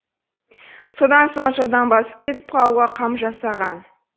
содан соң жылдам басып кетіп қалуға қам жасаған